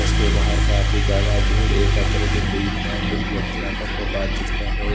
उसके बाहर काफी ज्यादा भीड़ एकत्रित हुई है कुछ व्यक्ति आपस मे बातचीत कर रहे हैं।